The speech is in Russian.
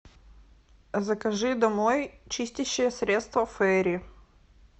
закажи домой чистящее средство фейри